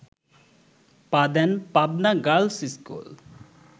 পা দেন Pabna girls school